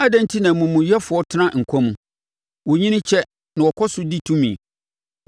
Adɛn enti na amumuyɛfoɔ tena nkwa mu? Wɔnyini kyɛ na wɔkɔ so di tumi.